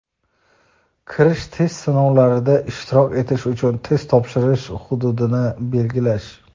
kirish test sinovlarida ishtirok etish uchun test topshirish hududini belgilash.